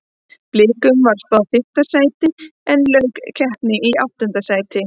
Blikum var spáð fimmta sæti en lauk keppni í áttunda sæti.